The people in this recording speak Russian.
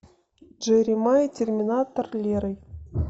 джеремая терминатор лерой